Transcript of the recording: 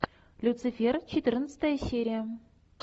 люцифер четырнадцатая серия